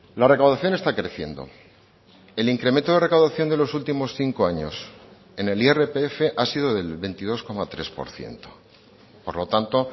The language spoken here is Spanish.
la recaudación está creciendo el incremento de recaudación de los últimos cinco años en el irpf ha sido del veintidós coma tres por ciento por lo tanto